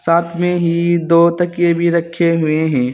साथ में ही दो तकीये भी रखे हुए हैं।